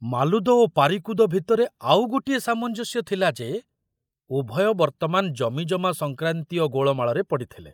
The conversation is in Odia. ମାଲୁଦ ଓ ପାରିକୁଦ ଭିତରେ ଆଉ ଗୋଟିଏ ସାମଞ୍ଜସ୍ୟ ଥିଲା ଯେ ଉଭୟ ବର୍ତ୍ତମାନ ଜମିଜମା ସଂକ୍ରାନ୍ତୀୟ ଗୋଳମାଳରେ ପଡ଼ିଥିଲେ।